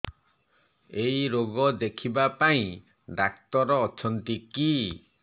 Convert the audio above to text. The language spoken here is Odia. ଏଇ ରୋଗ ଦେଖିବା ପାଇଁ ଡ଼ାକ୍ତର ଅଛନ୍ତି କି